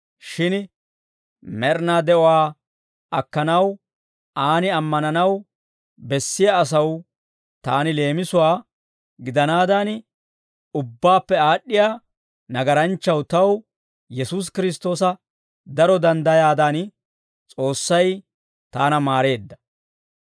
Shin med'inaa de'uwaa akkanaw Aan ammananaw bessiyaa asaw taani leemisuwaa gidanaadan, ubbaappe aad'd'iyaa nagaranchchaw taw Yesuusi Kiristtoosa daro danddayaadan, S'oossay taana maareedda.